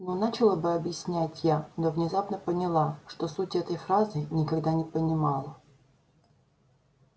ну начала было объяснять я но внезапно поняла что сути этой фразы никогда не понимала